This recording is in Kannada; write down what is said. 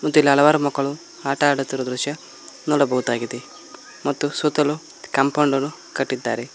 ಇಲ್ಲಿ ಹಲವಾರು ಮಕ್ಕಳು ಆಟ ಮಾಡುತ್ತಿರುವ ದೃಶ್ಯ ನೋಡಬಹುದಾಗಿದೆ ಮತ್ತು ಸುತ್ತಲು ಕಾಂಪೌಂಡ್ ಅನ್ನು ಕಟ್ಟಿದ್ದಾರೆ.